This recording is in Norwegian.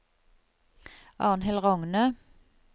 Arnhild Rogne